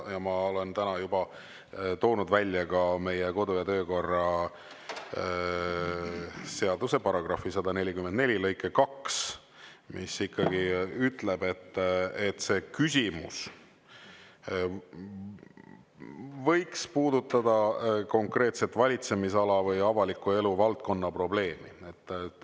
Ma olen täna juba esile toonud ka meie kodu- ja töökorra seaduse § 144 lõike 2, mis ütleb, et küsimus võiks ikkagi puudutada konkreetselt valitsemisala või avaliku elu valdkonna probleemi.